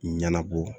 Ɲɛnabɔ